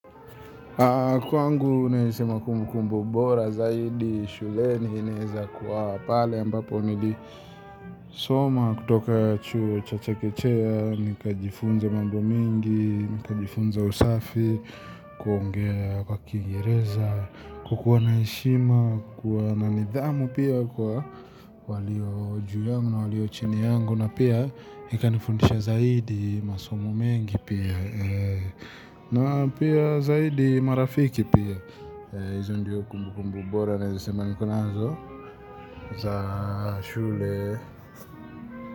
Kwangu nasema kumbukumbu bora zaidi shuleni inaeza kuwa pale ambapo nilisoma kutoka chuo cha chekechea, nikajifunza mambo mingi, nikajifunza usafi. Kuongea kwa kiingereza, kukuwa na heshima, kuwa na nidhamu pia kwa walio juu yangu na walio chini yangu. Na pia likanifundisha zaidi masomo mengi pia. Zaidi marafiki pia, hizo ndio kumbukumbu bora naeza sema niko nazo za shule.